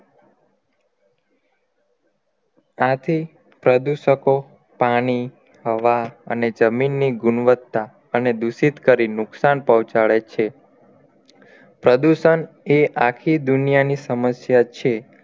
આથી પ્રદુષકો પાણી હવા અને જમીન ની ગુણવત્તા અને દુષિત કરી નુકશાન પહોચાડે છે પ્રદુષણ એ આખી દુનિયાની સમસ્યા છે